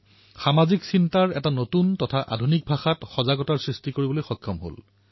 কেতিয়াবা কেতিয়াবা মন কী বাতক লৈ ঠাট্টামস্কৰা কৰাও হয় কিন্তু মোৰ মনত সদায়েই ১৩০ কোটি দেশবাসী প্ৰবাহমান হৈ আছে